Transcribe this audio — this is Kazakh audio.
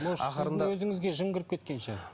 может сіздің өзіңізге жын кіріп кеткен шығар